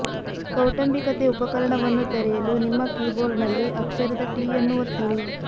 ಕೌಟುಂಬಿಕತೆ ಉಪಕರಣವನ್ನು ತೆರೆಯಲು ನಿಮ್ಮ ಕೀಬೋರ್ಡ್ನಲ್ಲಿ ಅಕ್ಷರದ ಟಿ ಅನ್ನು ಒತ್ತಿರಿ